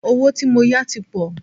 Owó tí mó yá tí pọ̀.